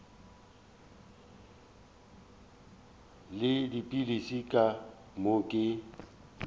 le dipilisi ka moo ke